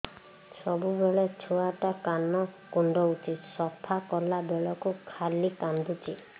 ସବୁବେଳେ ଛୁଆ ଟା କାନ କୁଣ୍ଡଉଚି ସଫା କଲା ବେଳକୁ ଖାଲି କାନ୍ଦୁଚି